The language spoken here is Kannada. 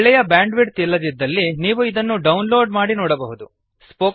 ಒಳ್ಳೆಯ ಬ್ಯಾಂಡ್ ವಿಡ್ತ್ ಇಲ್ಲದಿದ್ದಲ್ಲಿ ನೀವು ಇದನ್ನು ಡೌನ್ ಲೋಡ್ ಮಾಡಿ ನೋಡಬಹುದು